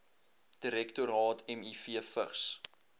direktoraat miv vigs